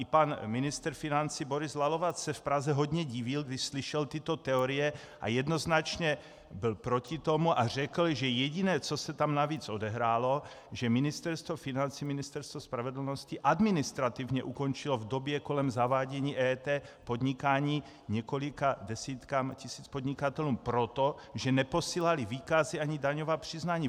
I pan ministr financí Boris Lalovac se v Praze hodně divil, když slyšel tyto teorie, a jednoznačně byl proti tomu a řekl, že jediné, co se tam navíc odehrálo, že Ministerstvo financí, Ministerstvo spravedlnosti administrativně ukončilo v době kolem zavádění EET podnikání několika desítkám tisíc podnikatelů proto, že neposílali výkazy ani daňová přiznání.